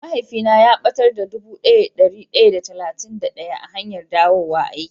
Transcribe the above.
Mahaifi na ya batar da dubu daya da dari daya da talatin da daya a hanyan dawo aiki.